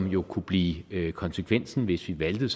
jo kunne blive konsekvensen hvis vi valgte